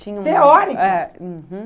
Teórica! Uhum.